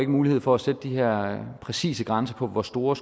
mulighed for at sætte de her præcise grænser for hvor store